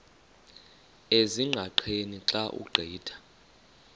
ezingqaqeni xa ugqitha